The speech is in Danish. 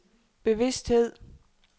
bevidsthed